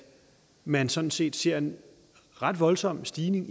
man sådan set ser en ret voldsom stigning